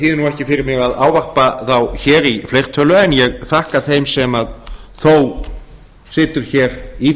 ekki fyrir mig að ávarpa þá hér í fleirtölu en ég þakka þeim sem þó situr í